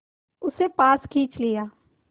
उसे पास खींच लिया